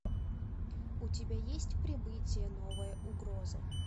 у тебя есть прибытие новая угроза